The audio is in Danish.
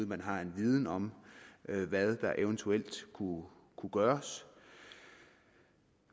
man har en viden om hvad der eventuelt kunne gøres